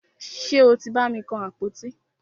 Ṣe o tí bàmi kan àpótí?